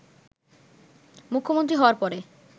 মুখ্যমন্ত্রী হওয়ার পরে